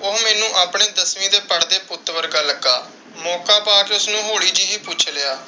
ਉਹ ਮੈਨੂੰ ਦਸਵੀਂ ਦੇ ਪੜ੍ਹਦੇ ਪੁੱਤ ਵਰਗਾ ਲੱਗਾ। ਮੌਕਾ ਪਾ ਕੇ ਉਸਨੂੰ ਹੋਲੀ ਜਿਹੀ ਪੁੱਛ ਲਿਆ।